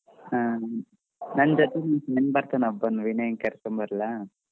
ಹ್ಮ್ ನನ್ ಜೊತೆ friends ಬರ್ತಾನೆ ವಿನಯನ್ ಕರ್ಕೊಂಡ್ ಬರ್ಲಾ.